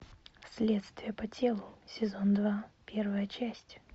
следствие по телу сезон два первая часть